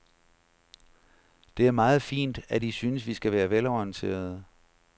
Det er meget fint, at I synes, vi skal være velorienterede.